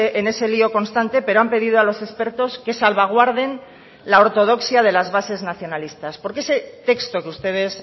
en ese lío constante pero han pedido a los expertos que salvaguarden la ortodoxia de las bases nacionalistas porque ese texto que ustedes